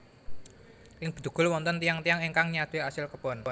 Ing Bedugul wonten tiyang tiyang ingkang nyadé asil kebon